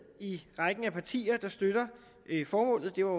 i rækken af partier der støtter formålet det var